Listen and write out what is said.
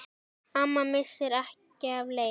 Amma missir ekki af leik.